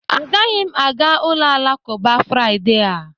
Agaghị m aga ụlọ alakụba Friday a